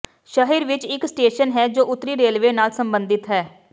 ਸ਼ਹਿਰ ਵਿੱਚ ਇੱਕ ਸਟੇਸ਼ਨ ਹੈ ਜੋ ਉੱਤਰੀ ਰੇਲਵੇ ਨਾਲ ਸਬੰਧਿਤ ਹੈ